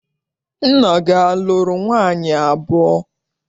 Nna gị a lụrụ nwaanyị abụọ?